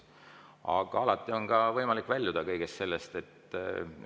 Aga alati on ka võimalik kõigest sellest väljuda.